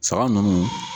Saga ninnu